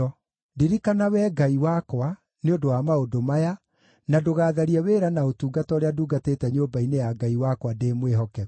Ndirikana, Wee Ngai wakwa, nĩ ũndũ wa maũndũ maya, na ndũgatharie wĩra na ũtungata ũrĩa ndungatĩte nyũmba-inĩ ya Ngai wakwa ndĩ mwĩhokeku.